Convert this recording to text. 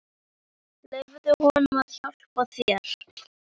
Leyfðu honum að hjálpa þér.